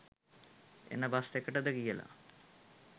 එන බස් එකටද කියලා.